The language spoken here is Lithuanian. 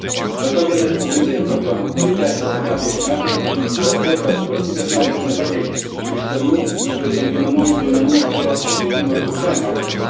Be to, viena iš pagrindinių problemų, kuri tęsiasi metai iš metų, yra ta, kad valstybės narės nepateikė išsamių ir palyginamųjų duomenų apie pažeidimų ir sukčiavimo atvejus.